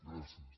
gràcies